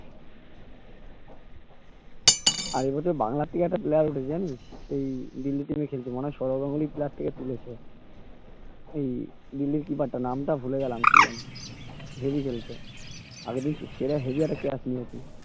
আগে কত বাংলা সে দিল্লি তে গিয়ে খেলতো মনে হয় সৌরভ গাঙ্গুলি player তাকে তুলেছে এই দিল্লির kipper টা নামটা ভুলে গেলাম যেন heavy খেলতো আগের দিন সেরা heavy একটা catch নিয়েছে